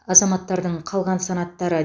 азаматтардың қалған санаттары